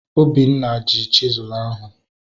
Obinna ji chisụl ahu